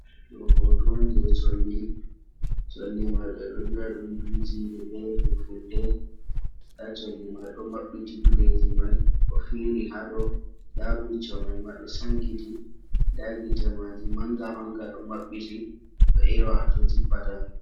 Ɗoo hooto on jey colli, colli may ɓe ɗo wi’a ɗum duujiire bee Fulfulde. Ndaa colli may ɗo maɓɓiti bileeji may ɗo fiiri ha dow. Ndaa bicco may ma ɗo sankiti, ndaa bicco maajum manga manga ɗo mabbiti ɗo eewa ha to jippata.